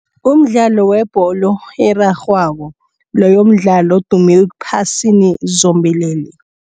Umdlalo webholo erarhwako loyo mdlalo odume ephasini zombelele.